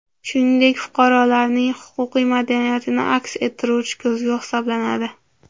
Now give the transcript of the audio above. Shuningdek, fuqarolarning huquqiy madaniyatini aks ettiruvchi ko‘zgu hisoblanadi.